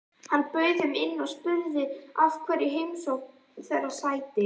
Hann bauð þeim inn og spurði hverju heimsókn þeirra sætti.